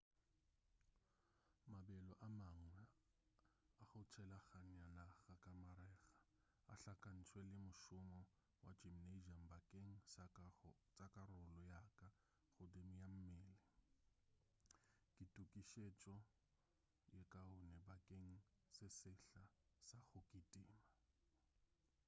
mabelo a mangwe a go tshelaganya naga ka marega a hlakantšwe le mošomo wa gymnasium bakeng sa karolo ya ka godimo ya mmele ke tokišetšo ye kaone bakeng sa sehla sa go kitima